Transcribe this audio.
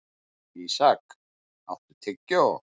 Ísak, áttu tyggjó?